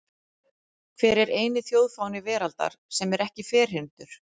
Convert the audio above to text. Hver er eini þjóðfáni veraldar sem er ekki ferhyrndur?